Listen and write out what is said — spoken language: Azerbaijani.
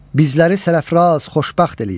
Bizləri sərəfraz xoşbəxt eləyin.